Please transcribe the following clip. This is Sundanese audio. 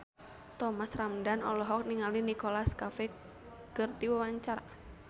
Thomas Ramdhan olohok ningali Nicholas Cafe keur diwawancara